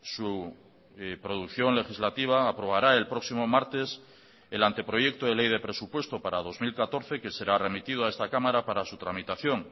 su producción legislativa aprobará el próximo martes el anteproyecto de ley de presupuesto para dos mil catorce que será remitido a esta cámara para su tramitación